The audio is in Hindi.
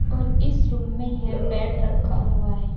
और इस रूम में यह बेड रखा हुआ है।